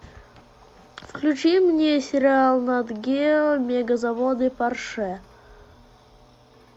включи мне сериал нат гео мегазаводы порше